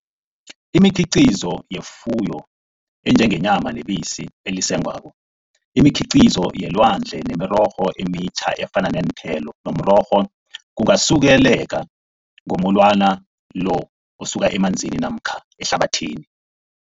Imikhiqizo yefuyo enjengenyama nebisi elisengwako, imikhiqizo yelwandle nemirorho emitjha efana neenthelo nomrorho kungasuleleka ngomulwana lo osuka emanzini namkha ehlabathini.